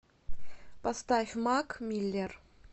поставь мак миллер